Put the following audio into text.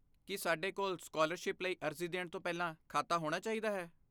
ਕੀ ਸਾਡੇ ਕੋਲ ਸਕਾਲਰਸ਼ਿਪ ਲਈ ਅਰਜ਼ੀ ਦੇਣ ਤੋਂ ਪਹਿਲਾਂ ਖਾਤਾ ਹੋਣਾ ਚਾਹੀਦਾ ਹੈ?